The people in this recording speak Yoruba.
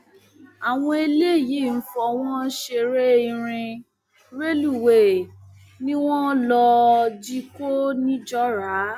àwọn eléyìí ń fọwọn ṣeré irin rélùwéè ni wọn lọọ jí kó nìjọra